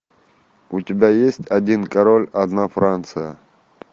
у тебя есть один король одна франция